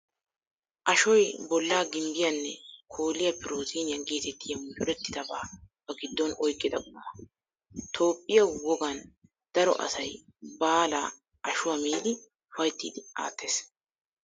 Ashoy bollaa gimbbiyaanne kooliya pirootiiniya geetettiya mucurettidabaa ba giddon oyqqida quma. Toophphiyaa woggan daro asay baalaa ashuwaa miidi ufayttiiddi aattees.